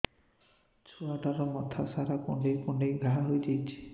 ଛୁଆଟାର ମଥା ସାରା କୁଂଡେଇ କୁଂଡେଇ ଘାଆ ହୋଇ ଯାଇଛି